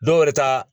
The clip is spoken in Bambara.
Dɔw wɛrɛ ta